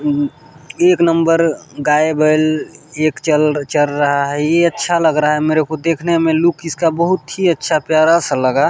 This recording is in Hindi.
एक नंबर गाय बैल एक चल चर रहा है यह अच्छा लग रहा है मेरे को देखने में लुक इसका बहुत ही अच्छा प्यारा सा लगा।